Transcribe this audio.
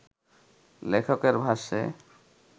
লেখকের ভাষ্যে